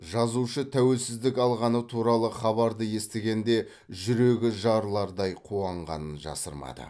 жазушы тәуелсіздік алғаны туралы хабарды естігенде жүрегі жарылардай қуанғанын жасырмады